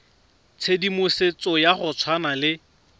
tshedimosetso ya go tshwana le